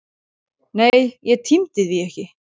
Nei, ég tímdi því ekki!